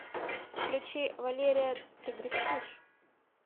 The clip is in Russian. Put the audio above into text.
включи валерия ты грустишь